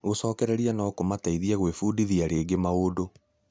Gũcokererio no kũmateithie gwĩbudithia rĩngĩ maundũ.